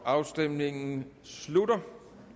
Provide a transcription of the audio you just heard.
afstemningen slutter